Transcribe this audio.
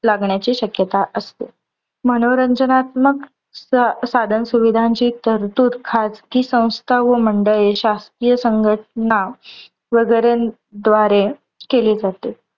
लागण्याची शक्यता असते. मनोरंजनात्मक साधन सुविधांची तरतूद खाजगी संस्था व मंडळे शासकीय संघटना वगैरेन द्वारे केली जाते.